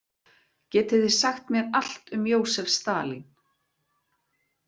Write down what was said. Getið þið sagt mér allt um Jósef Stalín?